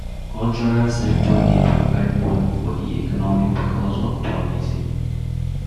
Cultural sector dey provide money for di economy because of tourism